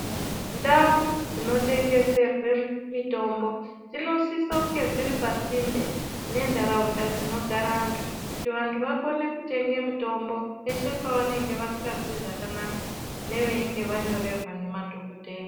Ndau dzinotengeserwe mitombo dzinosise kunge dziri pasinde nentaraunda dzinogara antu kuti vantu vakone kutenge mitombo peshe pavanenge vasingazwi zvakanaka neveinge vanyorerwa ngemadhokodheya.